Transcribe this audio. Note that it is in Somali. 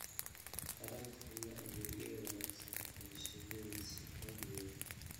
taranta iyo adeegyada wanaagsan ee shinni si loo hubiyo